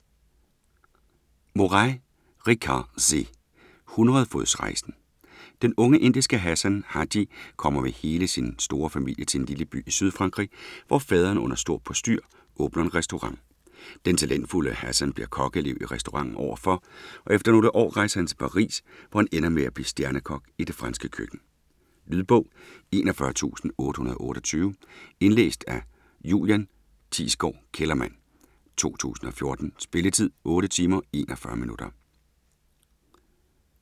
Morais, Richard C.: Hundredefodsrejsen Den unge indiske Hassan Haji kommer med hele sin store familie til en lille by i Sydfrankrig, hvor faderen under stort postyr åbner en restaurant. Den talentfulde Hassan bliver kokkeelev i restauranten overfor, og efter nogle år rejser han til Paris, hvor han ender med at blive stjernekok i det franske køkken. Lydbog 41828 Indlæst af Julian Thiesgaard Kellerman, 2014. Spilletid: 8 timer, 41 minutter.